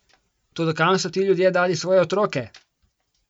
Toda kam so ti ljudje dali svoje otroke?